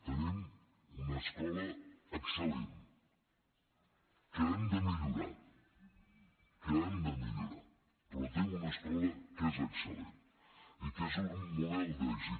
tenim una escola excel·lent que hem de millorar que hem de millorar però tenim una escola que és excel·lent i que és un model d’èxit